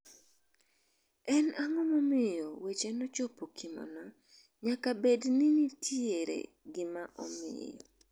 En ang'o maomiyo wechego nochopokimo no, nyaka bedni nitiere gima omiyo".